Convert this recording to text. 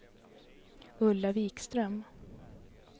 Ulla Vikström